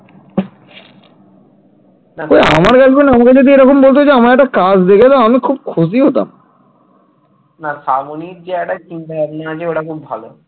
না শ্রাবণীর যে একটা চিন্তা ভাবনা আছে ওটা খুব ভালো।